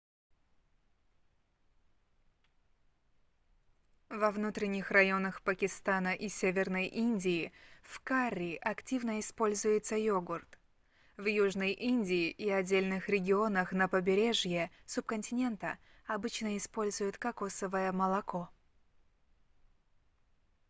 во внутренних районах пакистана и северной индии в карри активно используется йогурт в южной индии и отдельных регионах на побережье субконтинента обычно используют кокосовое молоко